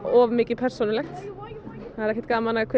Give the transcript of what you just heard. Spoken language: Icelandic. of mikið persónulegt ekki gaman að hver